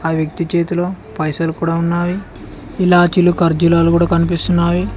ఆ వ్యక్తి చేతిలో పైసలు కూడా ఉన్నావి ఇలాచిలు ఖర్జూరాలు కూడా కనిపిస్తున్నాయి.